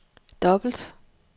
dobbelt